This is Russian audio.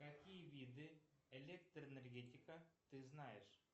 какие виды электроэнергетика ты знаешь